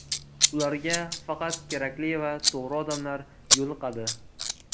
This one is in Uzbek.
Ularga faqat kerakli va to‘g‘ri odamlar yo‘liqadi.